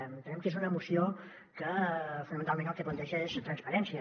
en·tenem que és una moció que fonamentalment el que planteja és transparència